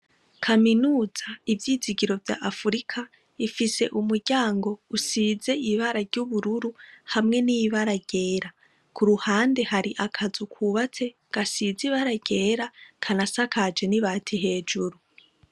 kaminuza ivyizigiro vya Afurika ifise umuryango usize ibara ry'ubururu hamwe n'ibara ryera . Ku ruhande hari akazu kubatse gasize ibara ryera ,kanasakaje n'ibati hejuru.